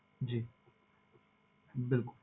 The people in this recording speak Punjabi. ਜੀ ਬਿਲਕੁਲ